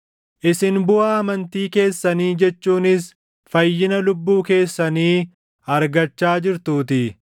isin buʼaa amantii keessanii jechuunis fayyina lubbuu keessanii argachaa jirtuutii.